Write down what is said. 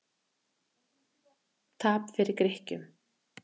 Tap fyrir Grikkjum